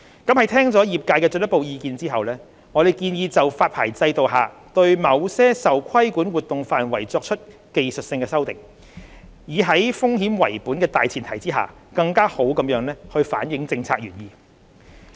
在聽取業界的進一步意見後，我們建議就發牌制度下對某些受規管活動範圍作出技術性修訂，以在風險為本的大前提下更好反映政策原意。